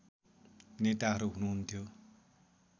नेताहरू हुनुहुन्थ्यो